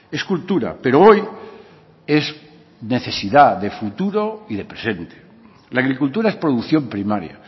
es cultura pero hoy es necesidad de futuro y de presente la agricultura es producción primaria